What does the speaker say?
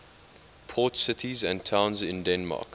port cities and towns in denmark